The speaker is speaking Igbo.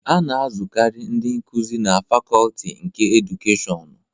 A na-azụkarị ndị nkuzi na Fakọlti nke Edukeshịọnu.